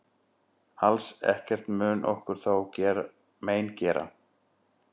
Alls ekkert mun okkur þá mein gera.